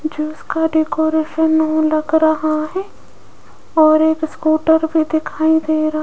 juice का decoration new लग रहा है और एक स्कूटर भीं दिखाई दे रहा --